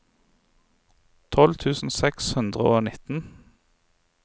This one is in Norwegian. tolv tusen seks hundre og nitten